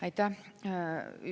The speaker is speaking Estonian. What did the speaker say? Aitäh!